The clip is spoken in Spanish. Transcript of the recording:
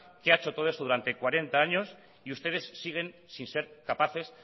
que ha hecho todo esto durante cuarenta años y ustedes siguen sin ser capaces